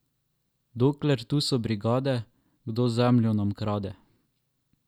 Dokler tu so brigade, kdo zemljo nam ukrade?